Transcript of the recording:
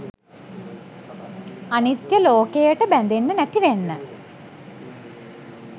අනිත්‍ය ලෝකයට බැඳෙන්නෙ නැති වෙන්න